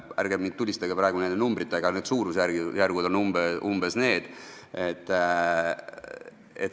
Ärgem nüüd tulistagem praegu nende numbritega, aga suurusjärgud on umbes need.